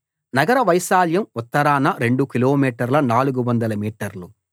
నగర వైశాల్యం ఉత్తరాన రెండు కిలోమీటర్ల 400 మీటర్లు